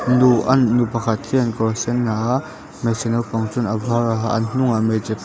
nuh an nu pakhat hian kawr sen ha a hmeichhe naupang chuan a var a ha a an hnungah hmeichhe--